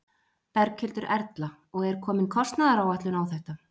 Berghildur Erla: Og er komin kostnaðaráætlun á þetta?